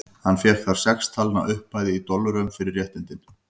Hann fékk þar sex talna upphæð, í dollurum, fyrir réttindin.